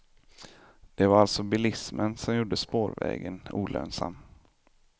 Det var alltså bilismen som gjorde spårvägen olönsam.